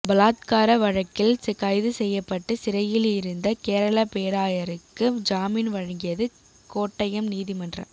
பலாத்கார வழக்கில் கைது செய்யப்பட்டு சிறையில் இருந்த கேரள பேராயருக்கு ஜாமின் வழங்கியது கோட்டயம் நீதிமன்றம்